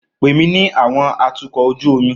Pè mí ní àwọn atukọ̀ ojú omi